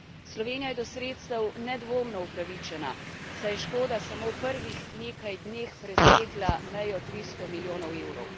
Slovenija je do sredstev nedvomno upravičena, saj je škoda samo v prvih nekaj dneh presegla mejo 300 milijonov evrov.